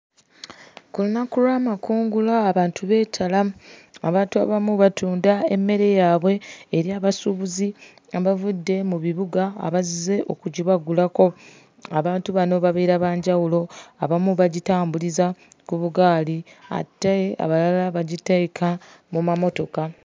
Ku lunaku lw'amakungula abantu beetala. Abantu abamu batunda emmere yaabwe eri abasuubuzi abavudde mu bibuga abazze okugibagulako. Abantu bano babeera ba njawulo. Abamu bagitambuliza ku bugaali ate abalala bagiteeka mu mamotoka.